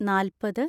നാല്‍പത്